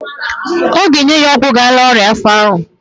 Ọ ga-enye ya ọgwụ ga-ala ọnya afọ ahụ.